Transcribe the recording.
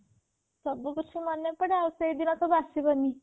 ସବୁ କିଛି ମନେ ପଡେ ଆଉ ସେଇଦିନ ସବୁ ଆସିବନି